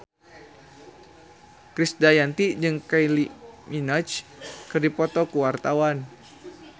Krisdayanti jeung Kylie Minogue keur dipoto ku wartawan